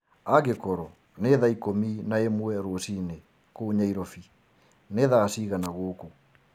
angĩkorwo ni thaa ĩkũmĩ naĩmwe rũciini kuũ nyairobi ni thaa cĩĩgana gukũ